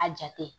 A jate